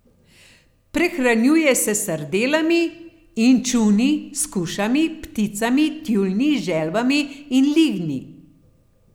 Prehranjuje se s sardelami, inčuni, skušami, pticami, tjulnji, želvami in lignji.